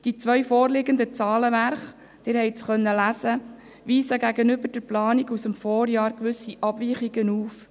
Die zwei vorliegenden Zahlenwerke – Sie konnten es lesen – weisen gegenüber der Planung aus dem Vorjahr gewisse Abweichungen auf.